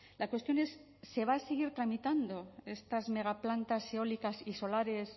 la cuestión es se van a seguir tramitando estas megaplantas eólicas y solares